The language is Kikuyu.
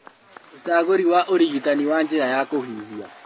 Ucagũri wa ũrigitani wa njĩra ya kũhihia